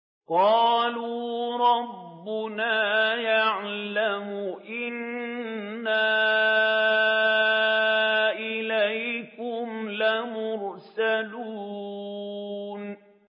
قَالُوا رَبُّنَا يَعْلَمُ إِنَّا إِلَيْكُمْ لَمُرْسَلُونَ